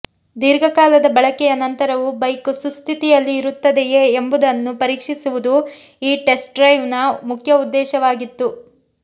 ದೀರ್ಘಕಾಲದ ಬಳಕೆಯ ನಂತರವೂ ಬೈಕ್ ಸುಸ್ಥಿತಿಯಲ್ಲಿ ಇರುತ್ತದೆಯೇ ಎಂಬುದನ್ನು ಪರೀಕ್ಷಿಸುವುದು ಈ ಟೆಸ್ಟ್ರೈಡ್ನ ಮುಖ್ಯ ಉದ್ದೇಶವಾಗಿತ್ತು